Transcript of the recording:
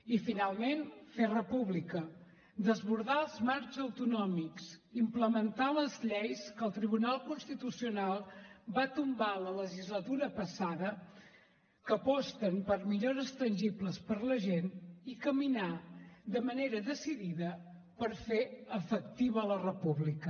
i finalment fer república desbordar els marcs autonòmics implementar les lleis que el tribunal constitucional va tombar la legislatura passada que aposten per millores tangibles per a la gent i caminar de manera decidida per fer efectiva la república